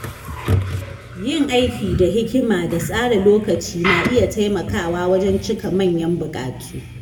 Yin aiki da hikima da tsara lokaci na iya taimakawa wajen cika manyan bukatu.